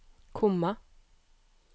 komma